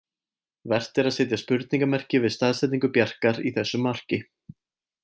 Vert er að setja spurningarmerki við staðsetningu Bjarkar í þessu marki.